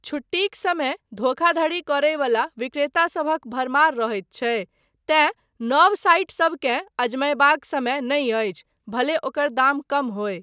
छुट्टीक समय धोखाधड़ी करय बला विक्रेतासभक भरमार रहैत छै तेँ नव साइटसबकेँ अजमयबाक समय नहि अछि भले ओकर दाम कम होय।